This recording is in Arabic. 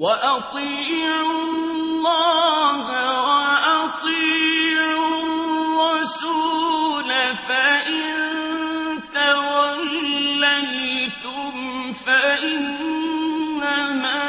وَأَطِيعُوا اللَّهَ وَأَطِيعُوا الرَّسُولَ ۚ فَإِن تَوَلَّيْتُمْ فَإِنَّمَا